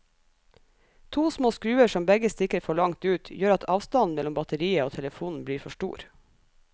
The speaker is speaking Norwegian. To små skruer som begge stikker for langt ut, gjør at avstanden mellom batteriet og telefonen blir for stor.